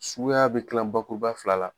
Suguya be tila bakuruba fila la